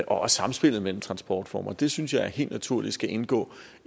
også samspillet mellem transportformer det synes jeg helt naturligt skal indgå